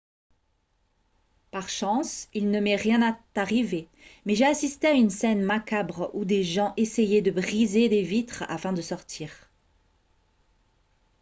par chance il ne m'est rien arrivé mais j'ai assisté à une scène macabre où des gens essayaient de briser des vitres afin de sortir